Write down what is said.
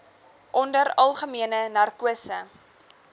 onder algemene narkose